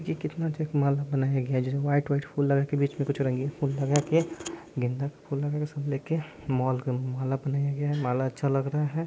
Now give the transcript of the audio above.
ये कितना अच्छा एक माला बनाया गया है जिसमें वाइट वाइट फूल लगा के बीच में कुछ रंगीन फूल लगा के गेंदा के फूल लगा के सब लेके मोल का माला बनाया गया माला अच्छा लग रहा है।